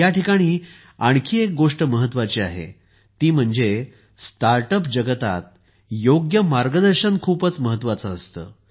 पण या ठिकाणी आणखी एक गोष्ट महत्त्वाची आहे ती म्हणजे स्टार्टअप जगतात योग्य मार्गदर्शन खूपच महत्वाचे आहे